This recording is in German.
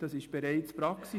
Das ist bereits Praxis.